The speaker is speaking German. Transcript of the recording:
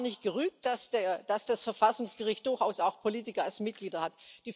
Ich habe gar nicht gerügt, dass das Verfassungsgericht durchaus auch Politiker als Mitglieder hat.